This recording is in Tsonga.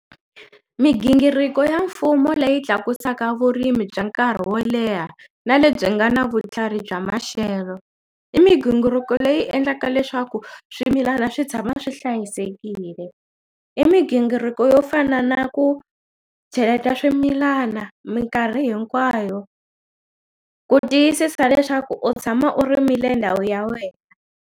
Migingiriko ya mfumo leyi tlakusaka vurimi bya nkarhi wo leha na lebyi nga na vutlhari bya maxelo i migingiriko leyi endlaka leswaku swimilana swi tshama swi hlayisekile i migingiriko yo fana na ku cheleta swimilana minkarhi hinkwayo ku tiyisisa leswaku u tshama u rimile ndhawu ya wena.